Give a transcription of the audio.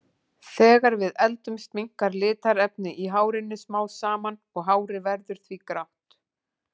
Þegar við eldumst minnkar litarefnið í hárinu smám saman og hárið verður því grátt.